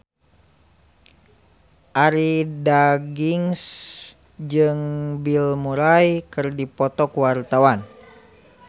Arie Daginks jeung Bill Murray keur dipoto ku wartawan